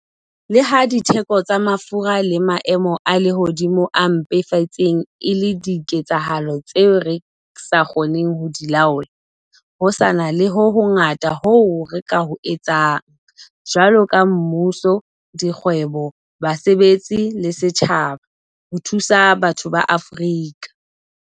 Le ha ditheko tsa mafura le maemo a lehodimo a mpefetseng e le diketsahalo tseo re sa kgoneng ho di laola, ho sa na le ho hongata hoo re ka ho etsang, jwaloka mmuso, dikgwebo, basebetsi le setjhaba, ho thusa batho ba Afrika